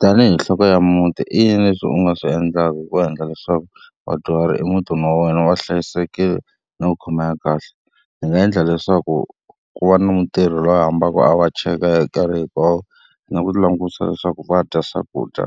Tanihi nhloko ya muti i yini leswi u nga swi endlaka hi ku endla leswaku vadyuhari i mutini wa wena va hlayisekile na ku khomeka kahle? Ndzi nga endla leswaku ku va na mutirhi loyi a fambaka a va cheka hi nkarhi hinkwawo, na ku langutisa leswaku va dya swakudya